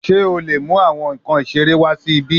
Ṣe o le mu awọn nkan isere wa si ibi?